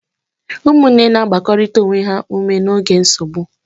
Ụmụnne na-agbakọrịta onwe ha ume n'oge nsogbu.